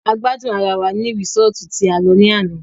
A gbádùn ará wá ní resọ́ọ́tu tí a lọ ní àná.